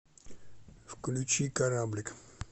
включи кораблик